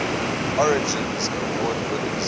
origins award winners